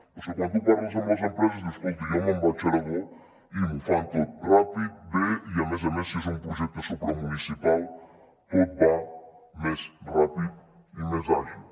però és que quan tu parles amb les empreses diuen escolti jo me’n vaig a aragó i m’ho fan tot ràpid bé i a més a més si és un projecte supramunicipal tot va més ràpid i més àgil